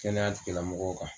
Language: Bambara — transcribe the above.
Kɛnɛyatigilamɔgɔw kan.